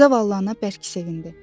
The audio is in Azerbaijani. Zavallı ana bərk sevindi.